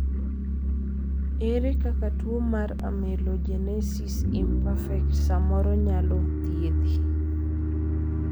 ere kaka tuo mar amelogenesis imperfect samoro inyalo thiedhi